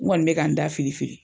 N kɔni bɛ k'an da fili fili.